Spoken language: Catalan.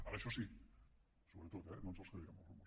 ara això sí sobretot eh no ens els creiem els rumors